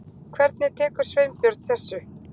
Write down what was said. Hvernig tekur Sveinbjörn þessu?